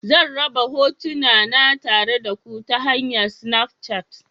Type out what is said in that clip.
Zan raba hotuna na tare da ku ta hanyar Snafchat.